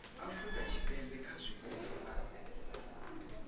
afurika tshipembe kha zwipotso na